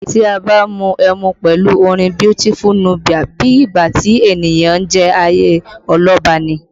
Tí a bá ń mu ẹmu pẹ̀lú orin Beautiful Nubia, bí ìgbà tí ènìyàn ń jayé ọlọ́ba ni